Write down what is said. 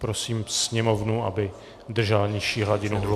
Prosím sněmovnu, aby držela nižší hladinu hluku.